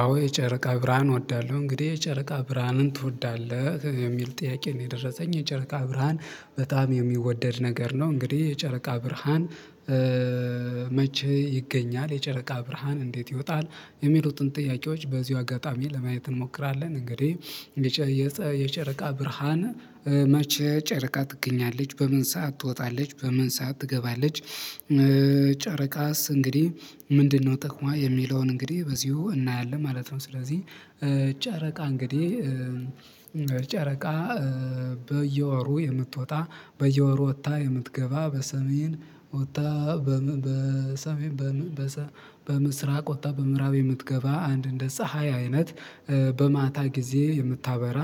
አዎ የጨረቃ ብርሃን እወዳለሁ እንግዲህ የጨረቃ ብርሃንን ትወዳለህ የሚል ጥያቄ ነው። የደረሰኝ የጨረቃ ብርሃን በጣም የሚወደድ ነገር ነው። እንግዲህ የጨረቃ ብርሃን። መቼ ይገኛል የጨረቃ ብርሃን እንዴት ይወጣል? የሚሉትን ጥያቄዎች በዚሁ አጋጣሚ ለማየት እንሞክራለን። እንግዲህ የጨረቃ ብርሃን መቼ ጨረቃ ትገኛለች በምን ሰዓት ትወጣለች በምን ሰዓት ትገባለች? ጨረቃስ እንግዲህ ምንድነው ጥቅሟ የሚለውን እንግዲህ በዚሁ እናያለን ማለት ነው። ስለዚህ ጨረቃ እንግዲህ ጨረቃ በየወሩ የምትወጣ በየወሩ ወጥታ የምትገባ በሰሜን ወጥታ በሰሜን በምስራቅ ወጣ በምዕራብ የምትገባ አንድ እንደ ፀሀይ አይነት በማታ ጊዜ የምታበራ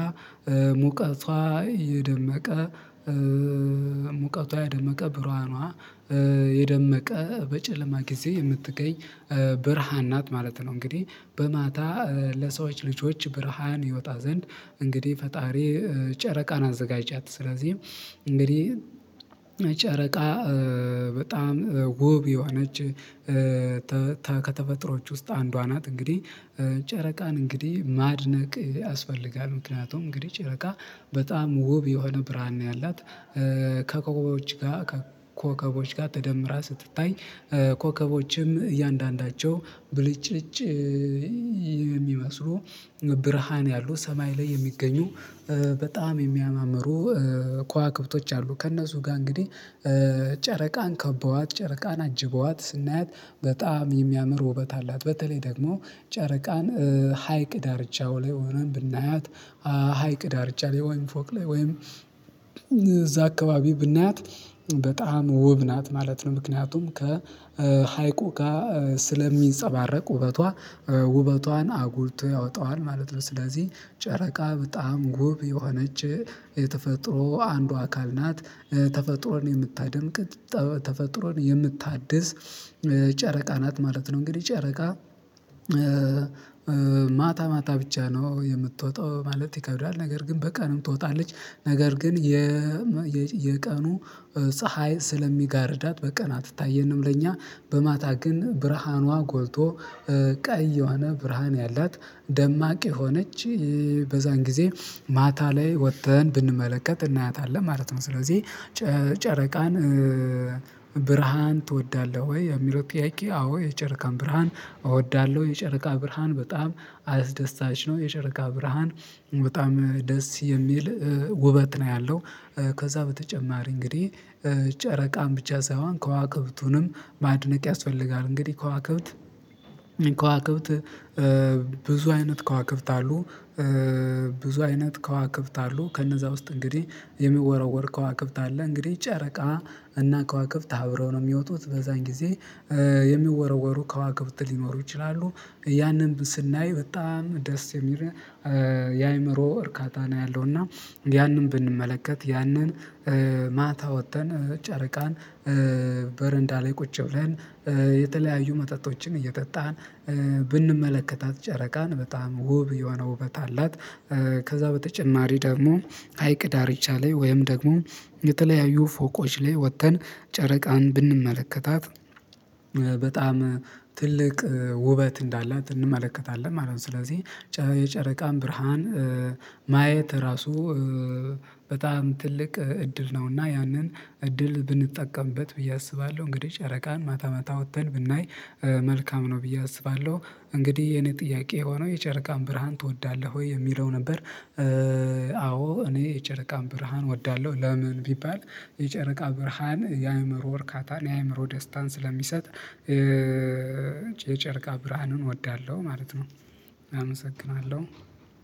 ሙቀቷ የደመቀ ሙቀቷ የደመቀ ብርሃኗ የደመቀ በጨለማ ጊዜ የምትገኝ ብርሃን ናት ማለት ነው። እንግዲህ በማታ ለሰዎች ልጆች ብርሃን ይወጣ ዘንድ እንግዲህ ፈጣሪ ጨረቃን አዘጋጃት ስለዚህ እንግዲህ ጨረቃ በጣም ውብ የሆነች ከተፈጥሮች ውስጥ አንዷ ናት። እንግዲህ ጨረቃን እንግዲህ ማድነቅ ያስፈልጋል ምክንያቱም እንግዲህ ጨረቃ በጣም ውብ የሆነ ብርሃን ነው። ያላት ከኮከቦች ጋር ከኮከቦች ጋር ተደምራ ስትታይ ኮከቦችም እያንዳንዳቸው ብልጭጭ የሚመስሉ ብርሃን ያሉ ሰማይ ላይ የሚገኙ በጣም የሚያማምሩ ከዋክብቶች አሉ ከእነሱ ጋር እንግዲህ ጨረቃን ከበዋት ጨረቃን አጅበዋት ስናያት በጣም የሚያምር ውበት አላት። በተለይ ደግሞ ጨረቃን ሀይቅ ዳርቻው ላይ ሆነን ብናያት ሀይቅ ዳርቻለሁ ወይም ፎቅ ላይ ወይም እዛ አካባቢ ብናያት በጣም ውብ ናት ማለት ነው። ምክንያቱም ከሀይቁ ጋር ስለሚንፀባረቅ ውበቷ ውበቷን አጉልቶ ያወጣዋል ማለት ነው። ስለዚህ ጨረቃ በጣም ውብ የሆነች የተፈጥሮ አንዱ አካል ናት። ተፈጥሮን የምታደምቅ ተፈጥሮን የምታድስ ጨረቃ ናት ማለት ነው። እንግዲህ ጨረቃ ማታ ማታ ብቻ ነው የምትወጣው ማለት ይከብዳል ነገር ግን በቀንም ትወጣለች። ነገር ግን የቀኑ ፀሀይ ስለሚጋርዳት በቀናት አትታየንም ለኛ በማታ ግን ብርሃኗ ጎልቶ ቀይ የዋነ ብርሃን ያላት ደማቂ የሆነች በዛን ጊዜ ማታ ላይ ወጥተን ብንመለከት እናያታለን ማለት ነው። ስለዚህ ጨረቃን ብርሃን ትወዳለህ ወይ የሚለው ጥያቄ? አዎ የጨረቃን ብርሃን እወዳለሁ የጨረቃ ብርሃን በጣም አስደሳች ነው የጨረቃ ብርሃን በጣም ደስ የሚል ውበት ነው። ያለው ከዛ በተጨማሪ እንግዲህ ጨረቃን ብቻ ሳይሆን ከዋክብቱንም ማድነቅ ያስፈልጋል እንግዲህ ከዋክብት ከዋክብት ብዙ አይነት ከዋክብት አሉ። ብዙ አይነት ከዋክብት አሉ ከነዛ ውስጥ እንግዲህ የሚወረወር ከዋክብት አለ እንግዲህ ጨረቃ እና ከዋክብት አብረው ነው የሚወጡት በዛን ጊዜ የሚወረወሩ ከዋክብት ሊኖሩ ይችላሉ ያንን ስናይ በጣም ደስ የሚል የአእምሮ እርካታ ነው። ያለው እና ያንን ብንመለከት ያንን ማታ ወጥተን ጨረቃን በረንዳ ላይ ቁጭ ብለን የተለያዩ መጠጦችን እየጠጣን ብንመለከታት ጨረቃን በጣም ውብ የሆነ ውበት አላት። ከዛ በተጨማሪ ደግሞ ሀይቅ ዳርቻ ላይ ወይም ደግሞ የተለያዩ ፎቆች ላይ ወጥተን ጨረቃን ብንመለከታት በጣም ትልቅ ውበት እንዳላት እንመለከታለን ማለት ነው። ስለዚህ የጨረቃም ብርሃን ማየት ራሱ በጣም ትልቅ እድል ነው። እና ያንን እድል ብንጠቀምበት ብዬ አስባለሁ እንግዲህ ጨረቃን ማታ ማታ ወጥተን ብናይ መልካም ነው ብዬ አስባለሁ። እንግዲህ የኔ ጥያቄ ሆኖ የጨረቃን ብርሃን ትወዳለህ ወይ የሚለው ነበር? አዎ እኔ የጨረቃን ብርሃን እወዳለሁ። ለምን ቢባል የጨረቃ ብርሃን የአእምሮ እርካታን የአእምሮ ደስታን ስለሚሰጥ የጨርቃ ብርሃኑን እወዳለሁ። ማለት ነው። አመሰግናለሁ።